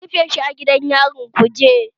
An rufe shi a gidan yarin Kuje